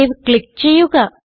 save click ചെയ്യുക